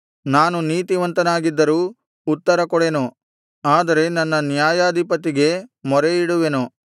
ನಾನು ನೀತಿವಂತನಾಗಿದ್ದರೂ ಉತ್ತರಕೊಡೆನು ಆದರೆ ನನ್ನ ನ್ಯಾಯಾಧಿಪತಿಗೆ ಮೊರೆಯಿಡುವೆನು